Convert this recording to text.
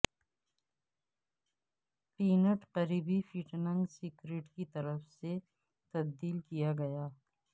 pant قریبی fitting skirt کی طرف سے تبدیل کیا گیا